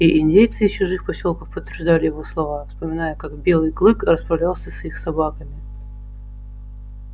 и индейцы из чужих посёлков подтверждали его слова вспоминая как белый клык расправлялся с их собаками